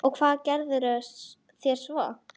Og hvað gerðuð þér svo?